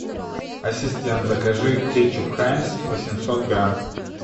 ассистент закажи кетчуп хайнц восемьсот грамм